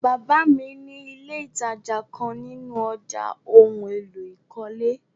Baba mi ni ìlé́ ìtajà kan nínú ọ̀já ohun èlò ìkọ́lé.